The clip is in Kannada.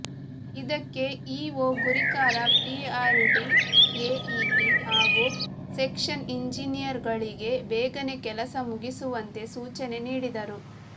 ಇದಕ್ಕೆ ಇಓ ಗುರಿಕಾರ ಪಿಆರ್ಇಡಿ ಎಇಇ ಹಾಗೂ ಸೆಕ್ಷೆನ್ ಇಂಜಿನಿಯರುಗಳಿಗೆ ಬೇಗನೆ ಕೆಲಸ ಮುಗಿಸುವಂತೆ ಸೂಚನೆ ನೀಡಿದರು